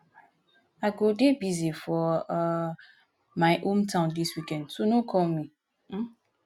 i go dey busy for um my home town dis weekend so no call me um